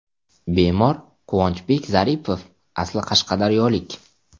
Bemor Quvonchbek Zaripov asli Qashqadaryolik.